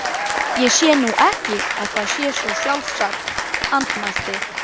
Ég sé nú ekki að það sé svo sjálfsagt- andmælti